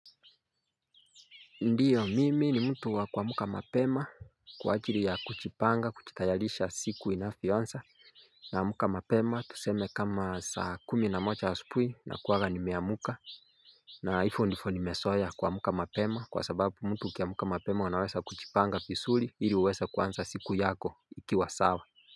Ndiyo mimi ni mtu wa kuamka mapema kwa ajili ya kujipanga kujitayarisha siku inavyoanza naamka mapema tuseme kama saa kumi na moja asubui nakuwanga nimeamka na hivyo ndivyo nimezoea kuamka mapema kwa sababu mtu ukiamka mapema unaweza kujipanga vizuri ili uweze kuanza siku yako ikiwa sawa.